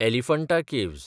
Elephanta caves